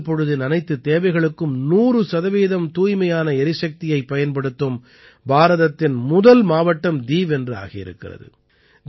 பகல் பொழுதின் அனைத்துத் தேவைகளுக்கும் 100 சதவீதம் தூய்மையான எரிசக்தியைப் பயன்படுத்தும் பாரதத்தின் முதல் மாவட்டம் தீவ் என்று ஆகியிருக்கிறது